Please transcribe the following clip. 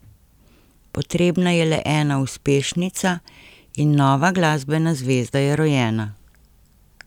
Potrebna je le ena uspešnica, in nova glasbena zvezda je rojena.